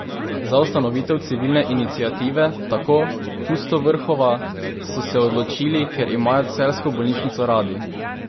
Za ustanovitev civilne iniciative, tako Pustovrhova, so se odločili, ker imajo celjsko bolnišnico radi.